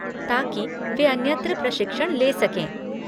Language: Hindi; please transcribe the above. ताकि वे अन्यत्र प्रशिक्षण ले सकें।